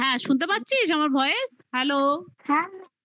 হ্যাঁ, হ্যাঁ, শুনতে পাচ্ছিস? আমার voice hello